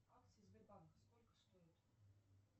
акции сбербанка сколько стоят